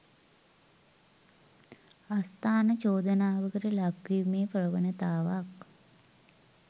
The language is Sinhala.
අස්ථාන චෝදනාවකට ලක්වීමේ ප්‍රවණතාවක්